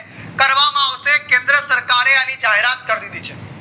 કરવામાં આવશે કેન્દ્ર સરકાર એ આણી જાહેરાત કરી દીધી છે